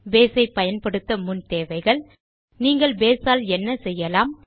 base ஐ பயன்படுத்த முன் தேவைகள் நீங்கள் பேஸ் ஆல் என்ன செய்யலாம்